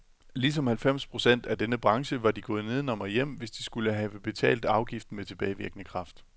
Ligesom halvfems procent af hele denne branche var de gået nedenom og hjem, hvis de skulle have betalt afgiften med tilbagevirkende kraft.